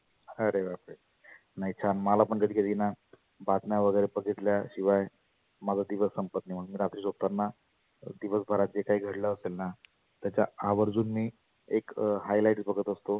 आरे बाप रे. नाही छान मला पण कधी कधी ना बातम्या वगैरे बधितल्या शिवाय माझा दिवस संपत नाही. रात्री झोपताना दिवस भरात जे काही घडलं असेलना त्याच्या आवर्जुन मी एक highlights बघत असतो.